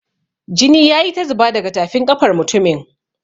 Jini ya yi ta zuba daga tafin ƙafar mutumin.